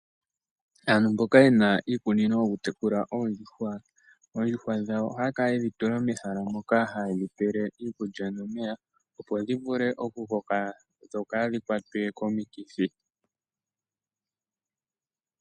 Aantu mboka yena iikunino yawo yokutekula oondjuhwa, oondjuhwa dhawo ohaya kala yedhi tula mehala moka, haye dhi pele mo iikulya nomeya opo dhi vule oku koka dho kaadhi kwatwe komikithi.